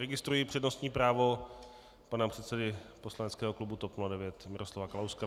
Registruji přednostní právo pana předsedy poslaneckého klubu TOP 09 Miroslava Kalouska.